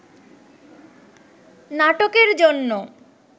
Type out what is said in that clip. নাটকের জন্য